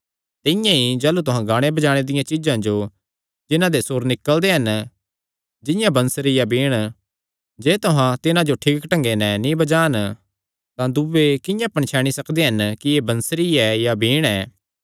तिंआं ई जाह़लू तुहां गाणे बजाणे दियां चीज्जां जो जिन्हां ते सुर निकल़दे हन जिंआं बंसरी या बीण जे तुहां तिन्हां जो ठीक ढंगे नैं नीं बजान तां दूये किंआं पणछैणी सकगे कि एह़ बंसरी या बीण ऐ